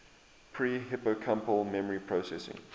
pre hippocampal memory processing